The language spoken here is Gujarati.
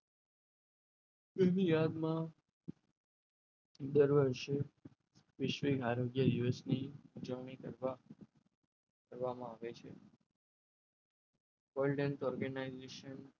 india માં દર વર્ષે વૈશ્વિક આરોગ્ય દિવસ દિવસની ઉજવણી કરતા કરવામાં આવે છે એ